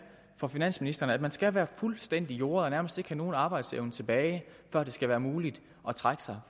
for finansministeren at man skal være fuldstændig jordet og nærmest ikke have nogen arbejdsevne tilbage for at det skal være muligt at trække sig